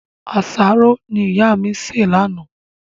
Àsáró ni ìyá mi ṣe láánaà